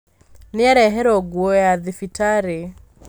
Nĩareherwo nguo ya thibitarĩ